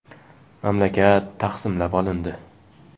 Mamlakat taqsimlab olindi.